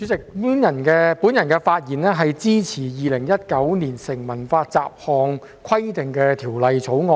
主席，我發言支持《2019年成文法條例草案》。